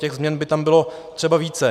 Těch změn by tam bylo třeba více.